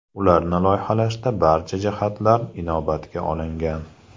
Ularni loyihalashda barcha jihatlar inobatga olingan.